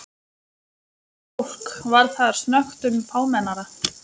Miðaldra fólk var þar snöggtum fámennara.